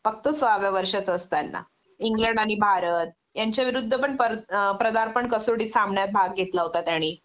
फक्त सोळाव्या वर्षाचा असताना इंग्लंड आणि भारत यांच्या विरुद्धपण प्रदार्पण कसोटी सामन्यात भाग घेतला होता त्याणी